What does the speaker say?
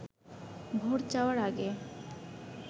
vote চাওয়ার আগে